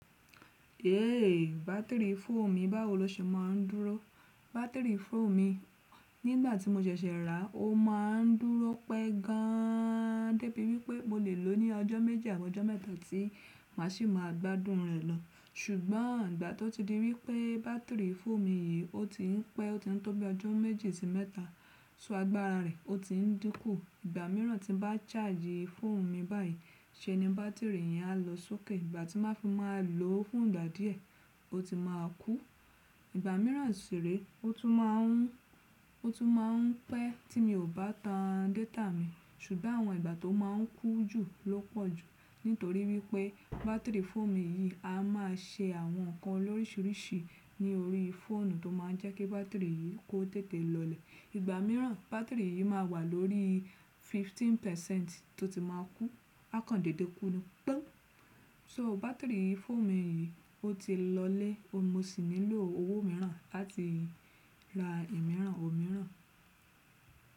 Yee, bátìrì fóònù mi báwo lọṣe má a ń dúró. Bátìrì fóònù mi nígbà tí mo ṣẹ̀ṣẹ̀ rà, ó má a ń dúró pẹ́ gan an débi wípé mo lè lò ó ní ọjọ́ méji àbọ ọjọ́ mẹ́ta tí màá ṣì máa gbádùn rẹ̀ lọ. Ṣùgbọ́n ìgbà tó ti di wípé bátìrì fóònù mi yìí ó ti ń pẹ́, ó ti ń tóbi ọjọ́ méje sí mẹ́ta, so agbára rẹ̀ ó ti ń dínkù. Ìgbà mìíràn tí bá chaaji fóònù mi báyìí, ṣé ni bátìrì yẹn á lọ sókè. Ìgbà tí màá fi má a lò ó fún ìgbà díẹ̀, ó ti má a kú. Ìgbà mìíràn sì re, ó tún má a ń pẹ́ tí mi ò bá tan data mi. Ṣùgbọ́n àwọn ìgbà tó má a ń kú jù ló pọ̀ jù. Nítorí wípé bátìrì fóònù mi yìí a má a ṣe àwọn nǹkan loríṣiríṣi ní orí fóònù tó má a jẹ́ kí bátìrì yìí kó tètè lọlẹ̀. Ìgbà mìíràn bátìrì yìí má a wà lórí fifteen percent tó ti má a kú. Akándédè kú ni, pọn. So bátìrì fóònù mi yìí ó ti lọ́lẹ̀. Mo sì nílò owó mìíràn láti ra ìmíràn ò mìíràn.